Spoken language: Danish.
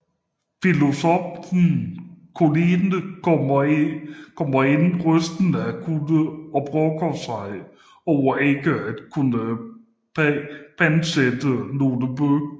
Filosoffen Colline kommer ind rystende af kulde og brokker sig over ikke at kunne pantsætte nogle bøger